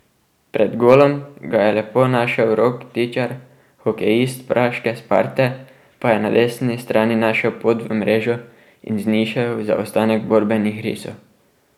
Pred golom ga je lepo našel Rok Tičar, hokejist praške Sparte pa je na desni strani našel pot v mrežo in znižal zaostanek borbenih risov.